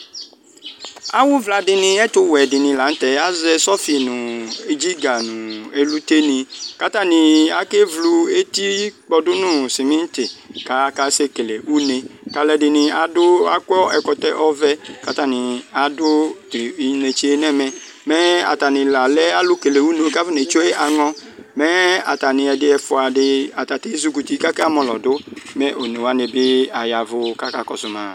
Awʋvka ɛtʋwɛ dini lanʋ tɛ azɛ sɔfi nʋ dziga nʋ elʋte ni kʋ atani akewlu eti pkɔdʋ nʋ simiti kʋ akase kele une kʋ alʋedini akɔ ɛkɔtɔ ɔvɛ kʋ atani adʋ inetse yɛ nʋ ɛmɛ mɛ atani la afɔnetsue aŋɔ mɛ atani ɛdɩ ɛfʋadi ezikɔ nʋ uti kʋ akamɔlɔ dʋ mɛ one wanibi aya ɛvʋ kʋ akakɔsʋ ma